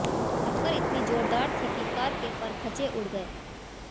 टक्कर इतनी जोरदार थी कि कार के परखचे उड़ गए